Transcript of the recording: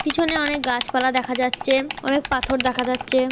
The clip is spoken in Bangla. পিছনে অনেক গাছপালা দেখা যাচ্ছে। অনেক পাথর দেখা যাচ্ছে ।